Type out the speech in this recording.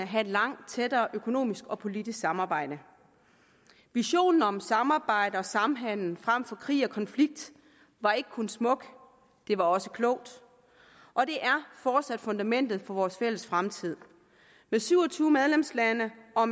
have et langt tættere økonomisk og politisk samarbejde visionen om samarbejde og samhandel frem for krig og konflikt var ikke kun smuk den var også klog og det er fortsat fundamentet for vores fælles fremtid med syv og tyve medlemslande og